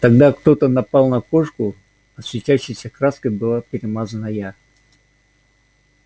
тогда кто-то напал на кошку а светящейся краской была перемазана я